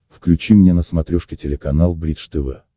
включи мне на смотрешке телеканал бридж тв